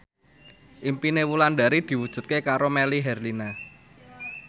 impine Wulandari diwujudke karo Melly Herlina